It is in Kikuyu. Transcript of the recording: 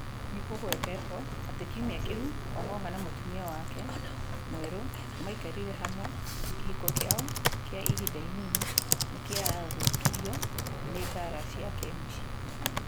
Nĩ kũgwetetwo atĩ kiumia kĩu Ong’ong’a na mũtumia wake mwerũ maikarire hamwe, kĩhiko kĩao kĩa ihinda inini nĩ kĩathũkiruo nĩ mbaara cia kĩmũciĩ.